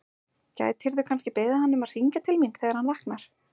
Gætirðu kannski beðið hann um að hringja til mín þegar hann vaknar?